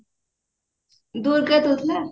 ଦୂର୍ଗା ଦଉଥିଲା